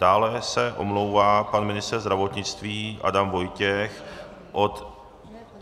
Dále se omlouvá pan ministr zdravotnictví Adam Vojtěch od -